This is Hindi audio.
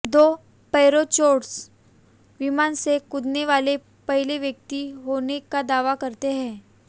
दो पैराचोटर्स विमान से कूदने वाले पहले व्यक्ति होने का दावा करते हैं